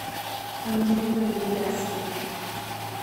ангелина дробязкина